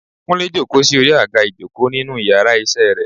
kunle jòkó sí orí agá ìjokò ninu íyarà iṣẹ re